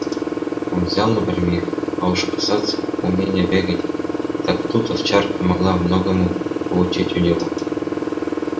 он взял напрямик а уж что касается умения бегать так тут овчарка могла многому поучиться у него